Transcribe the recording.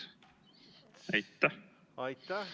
Aitäh!